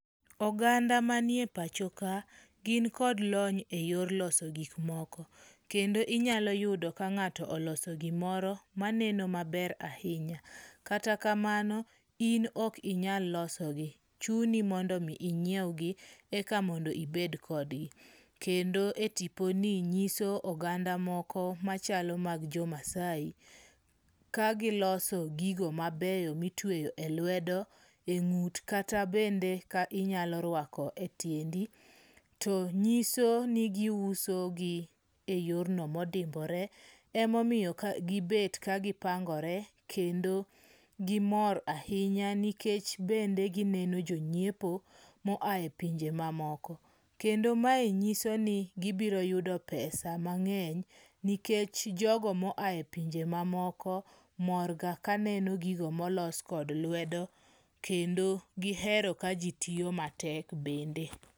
Oganda manie pacho ka, gin kod lony eyor loso gik moko. Kendo inyalo yudo ka ng'ato oloso gimoro maneno maber ahinya. Kata kamano, in ok inyal losogi. Chuni mondo mi inyiewgi eka mondo ibed kodgi. Kendo e tiponi nyiso oganda moko machalo mag jo Maasai, kagiloso gigo mabeyo mitweyo e lwedo, e ng'ut kata bende inyalo rwako e tiendi to nyiso ni giusogi e yorno modimbore emomiyo gibet kagi opangore. Kendo gimor ahinya nikech bende gineno jonyiepo moa e ponje mamoko. Kendo mae nyiso ni gibiro yudo pesa mang'eny, nikech jogo moa e pinje mamoko mor ga kaneno gigo molos kod lwedo kendo giheroa kaji tiyo matek bende.